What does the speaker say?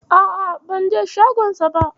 A'a, banje shagonsa ba.